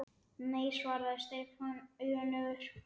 Nei svaraði Stefán önugur.